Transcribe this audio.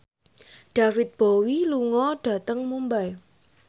David Bowie lunga dhateng Mumbai